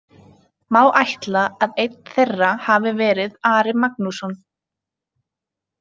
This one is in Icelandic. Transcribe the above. Má ætla að einn þeirra hafi verið Ari Magnússon.